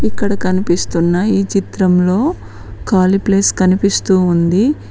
ఇక్కడ కనిపిస్తున్న ఈ చిత్రంలో ఖాళీ ప్లేస్ కనిపిస్తూ ఉంది.